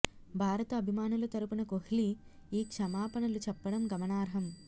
భారత అభిమానుల తరపున కోహ్లీ ఈ క్షమాపణలు చెప్పడం గమనార్హం